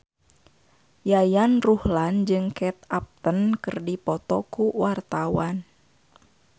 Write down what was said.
Yayan Ruhlan jeung Kate Upton keur dipoto ku wartawan